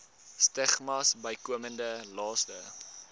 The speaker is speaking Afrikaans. stigmas bykomende laste